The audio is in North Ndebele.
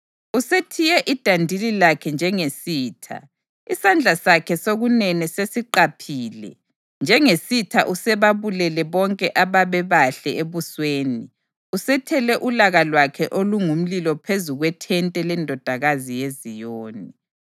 Usethiye idandili lakhe njengesitha; isandla sakhe sokunene sesiqaphile. Njengesitha usebabulele bonke ababebahle ebusweni; usethele ulaka lwakhe olungumlilo phezu kwethente leNdodakazi yeZiyoni.